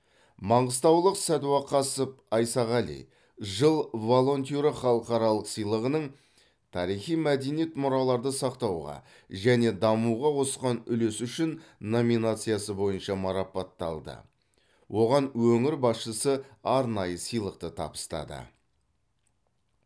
маңғыстаулық садуақасов айсағали жыл волонтері халықаралық сыйлығының тарихи мәдени мұраларды сақтауға және дамытуға қосқан үлесі үшін номинациясы бойынша марапатталды оған өңір басшысы арнайы сыйлықты табыстады